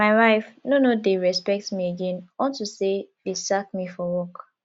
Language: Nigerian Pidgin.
my wife no no dey respect me again unto say dey sack me for work